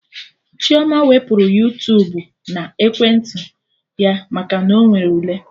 Chioma wepụrụ Yuutubuna ekwentị ya maka na Ọ nwere ule